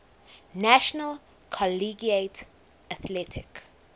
national collegiate athletic